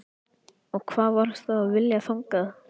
Og hvað varstu að vilja þangað?